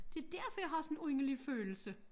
Det derfor jeg har sådan en underlig følelse